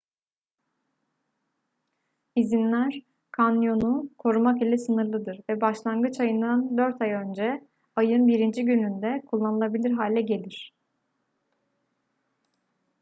i̇zinler kanyonu korumak ile sınırlıdır ve başlangıç ayından dört ay önce ayın 1. gününde kullanılabilir hale gelir